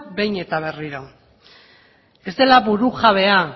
behin eta berriro ez dela burujabea